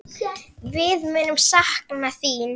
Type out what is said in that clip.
Við munum sakna þín.